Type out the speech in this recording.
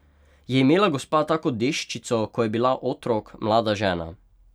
Je imela gospa tako deščico, ko je bila otrok, mlada žena?